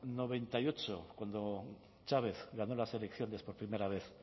noventa y ocho cuando chávez ganó las elecciones por primera vez